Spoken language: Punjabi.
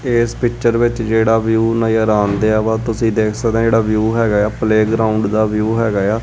ਇਸ ਪਿਕਚਰ ਵਿੱਚ ਜਿਹੜਾ ਵਿਊ ਆਉਂਦਿਆ ਵਾ ਤੁਸੀਂ ਦੇਖ ਸਕਦੇ ਹਾਂ ਜਿਹੜਾ ਵਿਊ ਹੈਗਾ ਆ ਪਲੇਗਰਾਊਂਡ ਦਾ ਵਿਊ ਹੈਗਾ ਆ।